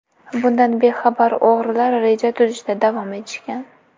Bundan bexabar o‘g‘rilar reja tuzishda davom etishgan.